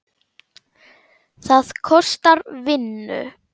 Það kostar vinnu!